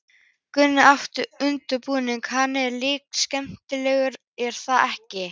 Gunnar Atli: Undirbúningurinn, hann er líka skemmtilegur er það ekki?